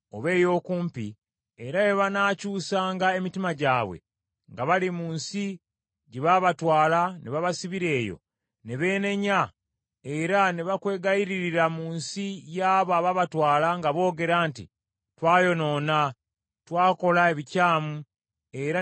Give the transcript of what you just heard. era bwe banaakyusanga emitima gyabwe nga bali mu nsi gye baabatwala ne babasibira eyo, ne beenenya era ne bakwegayiririra mu nsi y’abo abaabatwala nga boogera nti, ‘Twayonoona, twakola ebikyamu era ne tukola ekyejo;’